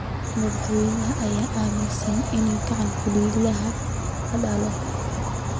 Madaxweynaha ayaa aaminsan in gacan ku dhiiglaha la dilo.